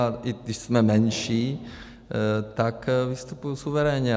A i když jsme menší, tak vystupuji suverénně.